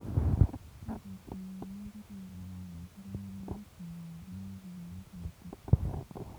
Sikopiit konyoor amdit nekararan, konyalunot kepai paipinik koititaa